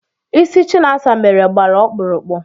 Ịsị Chinasa mere gbara ọkpụrụkpụ